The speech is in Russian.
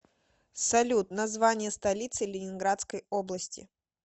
салют название столицы ленинградской области